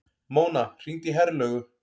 Mona, hringdu í Herlaugu.